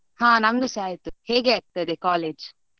ಹಾ ನಮ್ದುಸ ಅಯ್ತು, ಹೇಗೆ ಆಗ್ತದೆ college ?